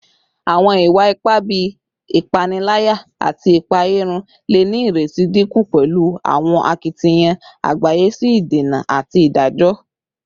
Awọn iwa-ipa bii ipanilaya ati ipaeyarun le ni ireti dinku pẹlu awọn akitiyan agbaye si idena ati idajọ